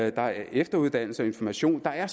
er efteruddannelse og information der er